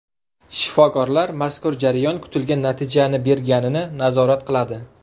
Shifokorlar mazkur jarayon kutilgan natijani berganini nazorat qiladi.